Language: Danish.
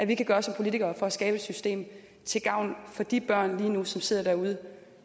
vi kan gøre som politikere for at skabe et system til gavn for de børn som lige nu sidder derude